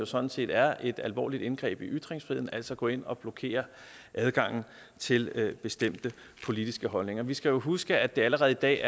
sådan set er et alvorligt indgreb i ytringsfriheden altså gå ind og blokere adgangen til bestemte politiske holdninger vi skal jo huske at det allerede i dag